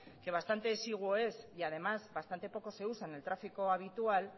que bastante exiguo es y además bastante poco se usa en el tráfico habitual